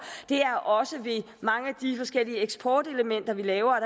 det er også ved mange af de forskellige eksportelementer vi laver